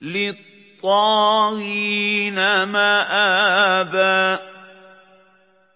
لِّلطَّاغِينَ مَآبًا